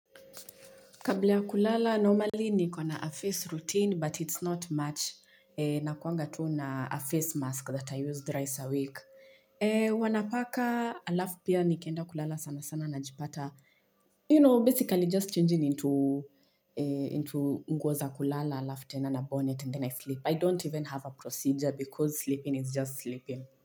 Kabla ya kulala, normally niko na a face routine, but it's not much. Nakuanga tu na a face mask that I use thrice a week. Huwa napaka alafu pia nikienda kulala sana sana najipata. You know, basically just changing into nguo za kulala, alafu tena na bonnet and then I sleep. I don't even have a procedure because sleeping is just sleeping.